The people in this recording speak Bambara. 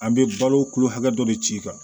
An bɛ balo kulo hakɛ dɔ de ci kan